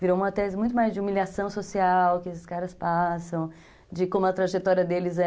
Virou uma tese muito mais de humilhação social que esses caras passam, de como a trajetória deles é...